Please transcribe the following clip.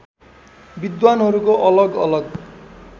विद्वानहरूको अलग अलग